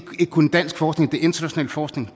ikke kun dansk forskning det er international forskning